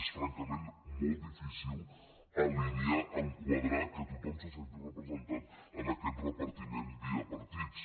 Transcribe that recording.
és francament molt difícil alinear enquadrar que tothom se senti representat en aquest repartiment via partits